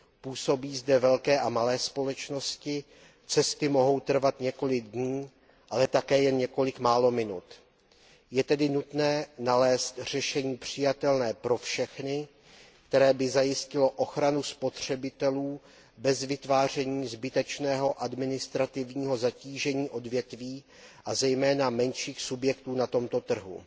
Působí zde velké a malé společnosti, cesty mohou trvat několik dní, ale také jen několik málo minut. Je tedy nutné nalézt řešení přijatelné pro všechny, které by zajistilo ochranu spotřebitelů bez vytváření zbytečného administrativního zatížení odvětví, a zejména menších subjektů na tomto trhu.